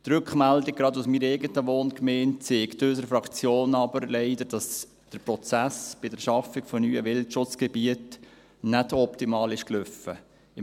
Die Rückmeldung, gerade aus meiner eigenen Wohngemeinde, zeigt unserer Fraktion leider, dass der Prozess bei der Schaffung neuer Wildschutzgebiete nicht optimal abgelaufen ist.